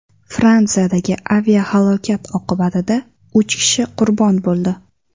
Fransiyadagi aviahalokat oqibatida uch kishi qurbon bo‘ldi.